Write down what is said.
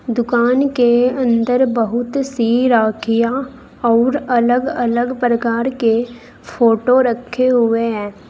दुकान के अंदर बहुत सी राखियां अऊर अलग अलग प्रकार के फोटो रखे हुए हैं।